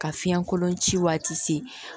Ka fiɲɛ kolon ci waati se